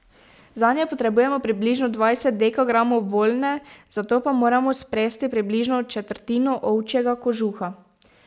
Zanje potrebujemo približno dvajset dekagramov volne, za to pa moramo spresti približno četrtino ovčjega kožuha.